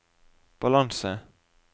balanse